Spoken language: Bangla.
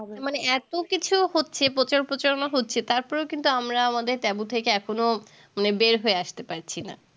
মানে এতো কিছু হচ্ছে প্রচার প্রচার মা হচ্ছে তারপরেও কিন্তু আমরা আমাদের taboo থেকে এখনো মানে বের হয়ে আসতে পারছিনা